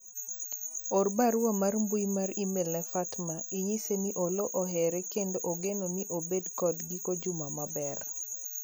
or barua mar mbui mar email ne Fatma inyise ni Oloo ohere kendo ogeno ni obedo kod giko juma maber